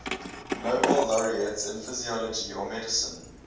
nobel laureates in physiology or medicine